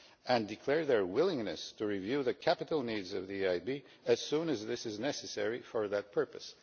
and declare their willingness to review the capital needs of the European Investment Bank as soon as this is necessary for that purpose.'